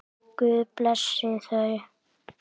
Guð blessi þau.